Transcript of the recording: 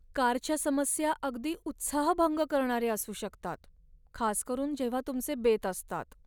कारच्या समस्या अगदी उत्साहभंग करणाऱ्या असू शकतात, खास करून जेव्हा तुमचे बेत असतात.